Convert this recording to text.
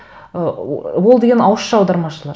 ы ол деген ауызша аудармашылар